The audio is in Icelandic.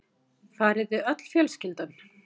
Farið þið öll fjölskyldan?